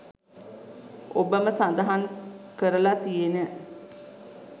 ඔබම සඳහන් කරල තියෙන